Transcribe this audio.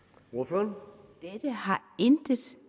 når